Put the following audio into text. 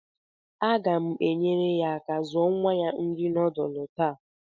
Aga m enyere ya aka zuo nwa ya nri nudulu taa